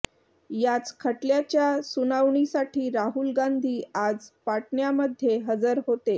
याच खटल्याच्या सुनावणीसाठी राहुल गांधी आज पाटण्यामध्ये हजर होते